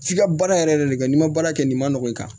F'i ka baara yɛrɛ de kɛ n'i ma baara kɛ nin ma nɔgɔn i kan